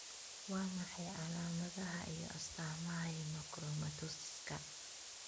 Waa maxay calaamadaha iyo astaamaha Hemochromatosiska?